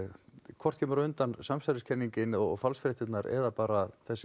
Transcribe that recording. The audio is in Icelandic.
hvort kemur á undan samsæriskenningin og falsfréttirnar eða bara þessi